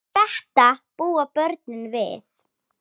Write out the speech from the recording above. Og þetta búa börnin við.